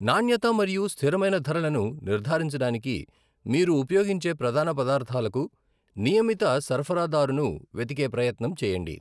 నాణ్యత మరియు స్థిరమైన ధరలను నిర్ధారించడానికి మీరు ఉపయోగించే ప్రధాన పదార్థాలకు నియమిత సరఫరాదారును వెదికే ప్రయత్నం చేయండి.